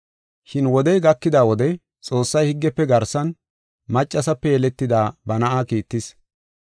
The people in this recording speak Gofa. Shin wodey gakida wode Xoossay higgefe garsan, maccasape yeletida ba na7aa kiittis.